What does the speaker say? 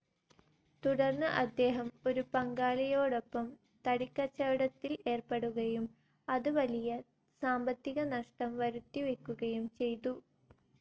തുടർന്ന് അദ്ദേഹം ഒരു പങ്കാളിയോടൊപ്പം തടിക്കച്ചവടത്തിൽ ഏർപ്പെടുകയും അത് വലിയ സാമ്പത്തിക നഷ്ട്ടം വരുത്തിവെക്കുകയും ചെയ്തു.